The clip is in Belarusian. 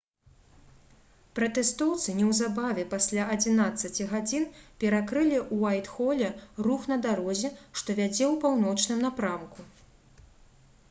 пратэстоўцы неўзабаве пасля 11:00 перакрылі у уайтхоле рух на дарозе што вядзе ў паўночным напрамку